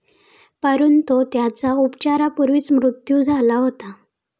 परंतु त्याचा उपचारापूर्वीच मृत्यू झाला होता.